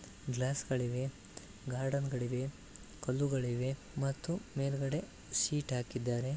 ಗ್ಲಾಸ್ಗಳಿವೆ garden ಗಳಿವೆ ಕಲ್ಲುಗಳಿವೆ ಮತ್ತು ಮೇಲ್ಗಡೆ ಸೀಟ್ ಹಾಕಿದ್ದಾರೆ